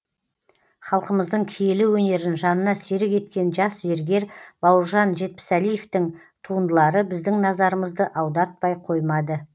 халқымыздың киелі өнерін жанына серік еткен жас зергер бауыржан жетпісәлиевтің туындылары біздің назарымызды аудартпай қоймады